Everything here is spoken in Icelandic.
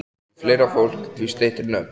Því fleira fólk, því styttri nöfn.